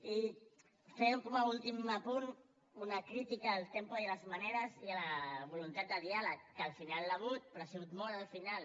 i fer com a últim apunt una crítica al tempo i a les maneres i a la voluntat de diàleg que al final n’hi ha hagut però ha sigut molt al final